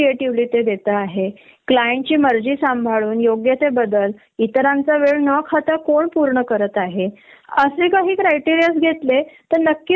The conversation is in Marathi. तेव्हा सुद्धा त्यांना आधी बेंच वर बसवल जात नंतर त्या व्हेडर्णी येतात हे बघून च त्यांना प्रोजेक्ट अलोकेट केला जातो तो परंतु डेट ली नाही. माहीत आहे का?